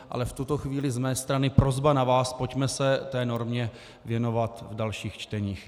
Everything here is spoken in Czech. Ale v tuto chvíli z mé strany prosba na vás, pojďme se té normě věnovat v dalších čteních.